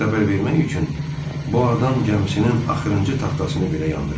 Pis xəbər vermək üçün bu adam gəmisinin axırıncı taxtasını belə yandırır.